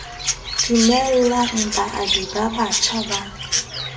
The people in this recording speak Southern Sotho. dumellang baabi ba batjha ba